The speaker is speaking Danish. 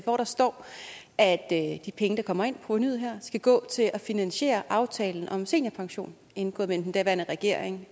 hvor der står at de penge der kommer ind provenuet her skal gå til at finansiere aftalen om seniorpension indgået mellem den daværende regering